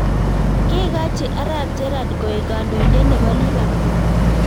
Kekachi arap gerad koek kandoindet nebo lipapool